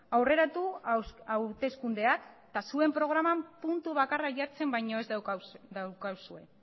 aurreratu hauteskundeak eta zuen programan puntu bakarra jartzen baino ez daukazue